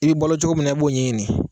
I bɛ bolo cogo min na b'o ɲɛɲini